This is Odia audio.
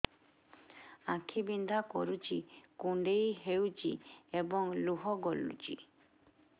ଆଖି ବିନ୍ଧା କରୁଛି କୁଣ୍ଡେଇ ହେଉଛି ଏବଂ ଲୁହ ଗଳୁଛି